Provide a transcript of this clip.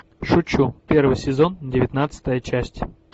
шучу первый сезон девятнадцатая часть